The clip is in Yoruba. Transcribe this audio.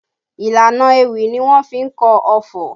Ìlànà ewì ni wọ́n fi kọ ọfọ̀